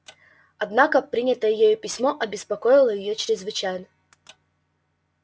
однако принятое ею письмо беспокоило её чрезвычайно